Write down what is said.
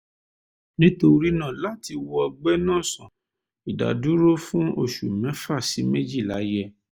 nítorí náà láti wo ọgbẹ́ náà sàn ìdádúró fún oṣù mẹ́fà sí méjìlá yẹ